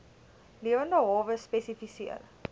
lewende hawe spesifiseer